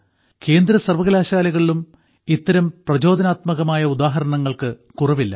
കേന്ദ്ര സർവ്വകലാശാലകളിലും ഇത്തരം പ്രചോദനാത്മകമായ ഉദാഹരണങ്ങൾക്ക് കുറവില്ല